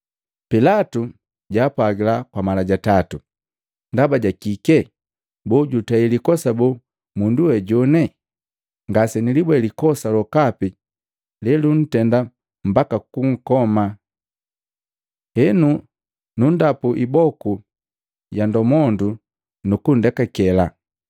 Pilatu jaapwagila kwa mala ja tatu, “Ndaba ja kike? Boo jutei likosa boo mundu we jone? Ngase nilibweni likosa lokapi leluntenda mbaka kunkoma. Henu nu ndapu iboku ya ndomondo nu kundekakela.”